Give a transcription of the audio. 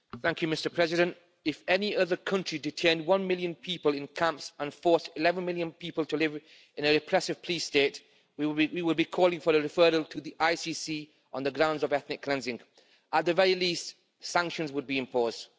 Mr President, if any other country detained one million people in camps and forced 11 million people to live in a repressive police state, we would be calling for a referral to the ICC on the grounds of ethnic cleansing. At the very least, sanctions would be imposed.